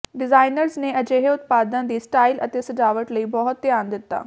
designers ਨੇ ਅਜਿਹੇ ਉਤਪਾਦਾਂ ਦੀ ਸਟਾਈਲ ਅਤੇ ਸਜਾਵਟ ਲਈ ਬਹੁਤ ਧਿਆਨ ਦਿੱਤਾ